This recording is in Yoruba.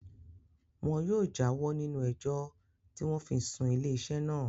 Wọn yóò já wọ́ nínú ẹjọ́ tí wọ́n fi sún ilé iṣẹ́ naa